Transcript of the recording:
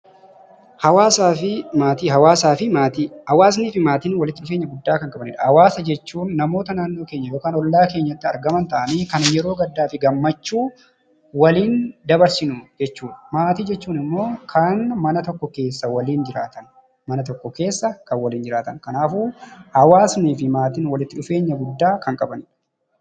Hawaasaa fi maatiin walitti dhufeenya guddaa kan qabanidha. Hawaasa jechuun namoota naannoo yookiin ollaa keenyatti argaman ta'anii kan yeroo gaddaa fi gammachuu waliin dabarsinu jechuudha. Maatii jechuun immoo kan mana tokko keessa waliin jiraatan jechuudha.